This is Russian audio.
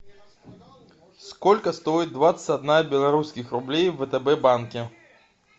сколько стоит двадцать одна белорусских рублей в втб банке